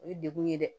O ye degun ye dɛ